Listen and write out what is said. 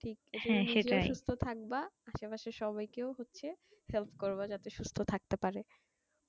সুস্থ থাকবে আসে পশে সবাইকেই হচ্ছে help করব যাতে সুস্থ থাকতে পারে